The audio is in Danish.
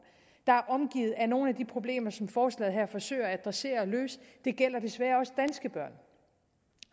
der er omgivet af nogle af de problemer som forslaget her forsøger at adressere og løse det gælder desværre også danske børn